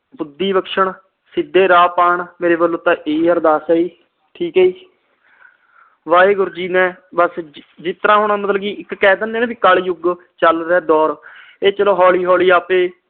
ਬੁੱਧੀ ਬਖਸ਼ਣ, ਸਿਧੇ ਰਾਹ ਪਾਉਣ ਮੇਰੇ ਵਲੋਂ ਤਾ ਹੀ ਅਰਦਾਸ ਆ ਜੀ ਠੀਕ ਆ ਜੀ ਵਾਹਿਗੁਰੂ ਜੀ ਨੇ ਬਸ ਜਿਸਤਰਾਂ ਹੁਣ ਮਤਲਬ ਕਿ ਕਹਿ ਦੀਨੇ ਆ ਕਲਜੁਗ ਚਲ ਰਹਿਆ ਦੌਰ ਇਹ ਚਲੋ ਹੋਲੀ ਹੋਲੀ ਆਪੇ